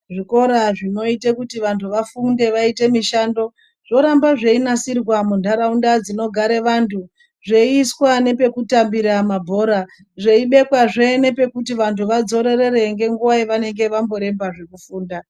Zvikora zvinoite kuti vantu vafunde vaite mishando zvoramba zveinasirwa muntaraunda dzinogara vantu zveiswa nepekutambira mabhora zveibekwazve nepekuti vantu vadzororera ngenguwa yavanenge vamboremba zvekufunda.